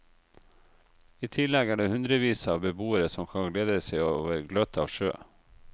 I tillegg er det hundrevis av beboere som kan glede seg over gløtt av sjø.